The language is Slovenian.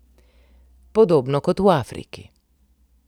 Podobno kot v Afriki.